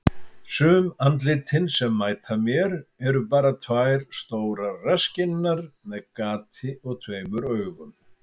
Sum andlitin sem mæta mér eru bara tvær stórar rasskinnar með gati og tveimur augum.